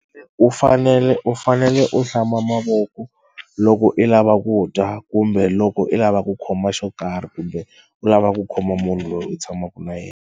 U fanele u fanele u hlamba mavoko loko i lava ku dya kumbe loko i lava ku khoma xo karhi kumbe u lava ku khoma munhu loyi u tshamaka na yena.